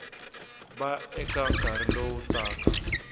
va eka nkarhi lowu taka